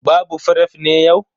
Babu fref ne yau?